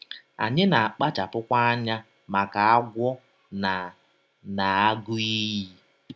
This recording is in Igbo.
Anyị na - akpachapụkwa anya maka agwọ na na agụ iyi.